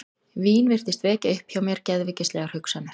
Vín virtist vekja upp hjá mér geðveikislegar hugsanir.